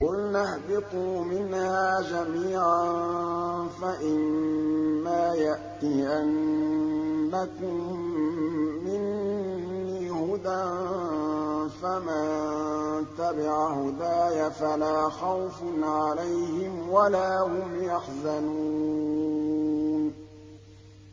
قُلْنَا اهْبِطُوا مِنْهَا جَمِيعًا ۖ فَإِمَّا يَأْتِيَنَّكُم مِّنِّي هُدًى فَمَن تَبِعَ هُدَايَ فَلَا خَوْفٌ عَلَيْهِمْ وَلَا هُمْ يَحْزَنُونَ